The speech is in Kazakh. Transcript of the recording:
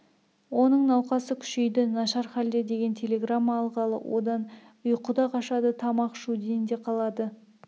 оның науқасы күшейді нашар халде деген телеграмма алғалы одан ұйқы да қашады тамақ ішуден де қалады